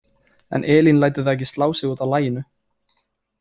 En Elín lætur það ekki slá sig út af laginu.